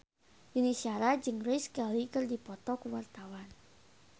Yuni Shara jeung Grace Kelly keur dipoto ku wartawan